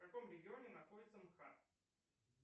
в каком регионе находится мхат